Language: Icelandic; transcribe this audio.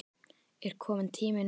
Er kominn tími núna?